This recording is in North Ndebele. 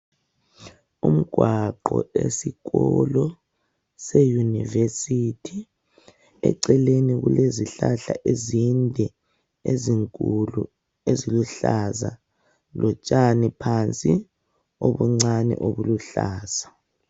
Umgwaqo esikolo seyunivesithi, eceleni kulezihlahla ezinde ezinkulu eziluhlaza lotshani phansi obuncane obuluhlaza.